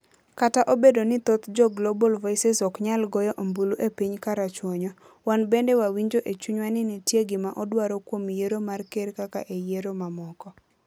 Kata obedo ni thoth jo Global Voices ok nyal goyo ombulu e piny karachuonyo, wan bende wawinjo e chunywa ni nitie gima odwaro kuom yiero mar Ker kaka e yiero mamoko.